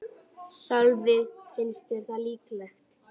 Sölvi: Finnst þér það líklegt?